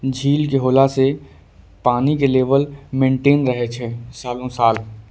झील के होला से पानी के लेवल मेन्टेन रहे छै सालो साल।